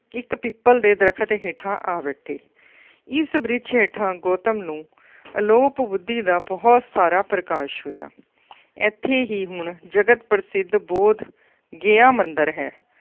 ਇੱਕ ਪਿੱਪਲ ਦੇ ਦਰੱਖਤ ਹੇਠਾ ਆ ਬੈਠੇ, ਇਸ ਬ੍ਰਿਛ ਹੇਠਾਂ ਗੌਤਮ ਨੂੰ ਅਲੋਪ ਬੁੱਧੀ ਦਾ ਬਹੁਤ ਸਾਰਾ ਪ੍ਰਕਾਸ਼ ਹੋਇਆ। ਇੱਥੇ ਹੀ ਹੁਣ ਜਗਤ ਪ੍ਰਸਿੱਧ ਬੋਧ ਗਿਆ ਮੰਦਿਰ ਹੈ।